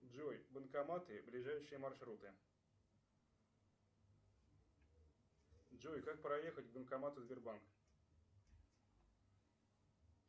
джой банкоматы ближайшие маршруты джой как проехать к банкомату сбербанк